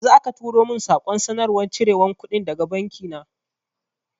Yanzu aka turo min saƙon sanarwar cire kuɗi daga banki na